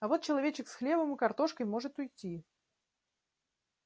а вот человечек с хлебом и картошкой может уйти